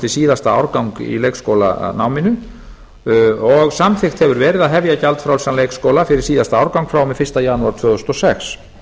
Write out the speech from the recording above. síðasta árgang í leikskólanáminu og samþykkt hefur verið að hefja gjaldfrjálsan leikskóla fyrir síðasta árgang frá og með fyrsta janúar tvö þúsund og sex